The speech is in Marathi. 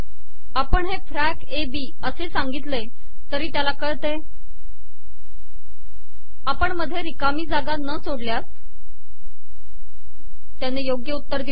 आपण हे फॅक ए बी असे सािगतले तरी तयाला कळते आपण मधे िरकामी जागा न सोडलयास तयाने योगय उतर िदले